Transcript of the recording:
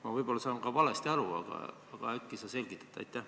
Ma võib-olla saan valesti aru, aga äkki sa selgitad?